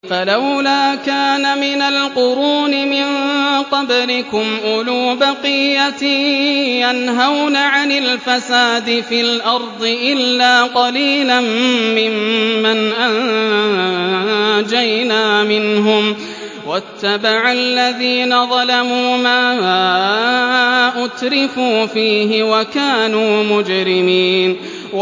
فَلَوْلَا كَانَ مِنَ الْقُرُونِ مِن قَبْلِكُمْ أُولُو بَقِيَّةٍ يَنْهَوْنَ عَنِ الْفَسَادِ فِي الْأَرْضِ إِلَّا قَلِيلًا مِّمَّنْ أَنجَيْنَا مِنْهُمْ ۗ وَاتَّبَعَ الَّذِينَ ظَلَمُوا مَا أُتْرِفُوا فِيهِ وَكَانُوا مُجْرِمِينَ